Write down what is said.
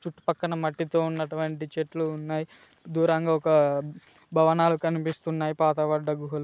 చుట్టుపక్కన మట్టితో ఉన్నటువంటి చెట్లు ఉన్నాయి దూరంగా ఒక భవనాలు కనిపిస్తున్నాయి పాతబడ్డ గుహలు.